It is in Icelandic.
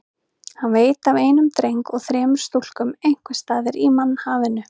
Hann veit af einum dreng og þremur stúlkum einhvers staðar í mannhafinu.